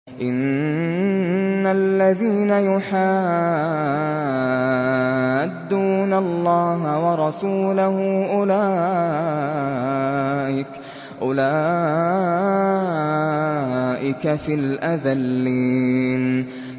إِنَّ الَّذِينَ يُحَادُّونَ اللَّهَ وَرَسُولَهُ أُولَٰئِكَ فِي الْأَذَلِّينَ